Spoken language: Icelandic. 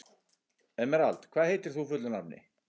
Emerald, hvað heitir þú fullu nafni?